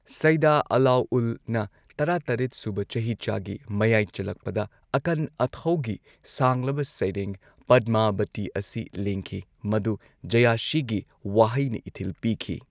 ꯁꯩꯗꯥ ꯑꯥꯂꯥꯎꯜꯅ ꯇꯔꯥ ꯇꯔꯦꯠꯁꯨꯕ ꯆꯍꯤꯆꯥꯒꯤ ꯃꯌꯥꯏ ꯆꯜꯂꯛꯄꯗ ꯑꯀꯟ ꯑꯊꯧꯒꯤ ꯁꯥꯡꯂꯕ ꯁꯩꯔꯦꯡ ꯄꯗꯃꯥꯕꯇꯤ ꯑꯁꯤ ꯂꯦꯡꯈꯤ ꯃꯗꯨ ꯖꯌꯥꯁꯤꯒꯤ ꯋꯥꯍꯩꯅ ꯏꯊꯤꯜ ꯄꯤꯈꯤ꯫